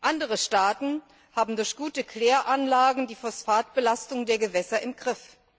Andere Staaten haben durch gute Kläranlagen die Phosphatbelastung der Gewässer im Griff.